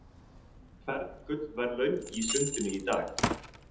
Fern gullverðlaun í sundinu í dag